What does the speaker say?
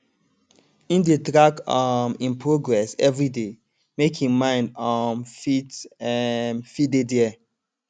im dey track um im progress everyday make him mind um fit um fit dey dere